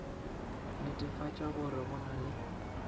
netefatša gore go na le